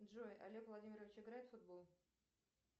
джой олег владимирович играет в футбол